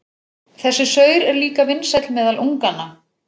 Þessi saur er líka vinsæll meðal unganna.